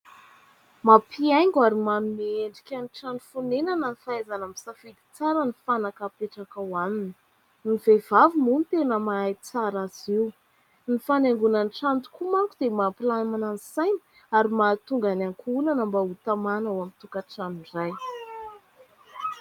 Mampihaingo ary manome endrika ny trano fonenana ny fahaizana misafidy tsara ny fanaka apetraka ao aminy. Ny vehivavy moa no tena mahay tsara azy io. Ny fanaingoana ny trano tokoa manko dia mampilamina ny saina ary mahatonga ny ankohonana mba ho tamana ao amin'ny tokantrano iray.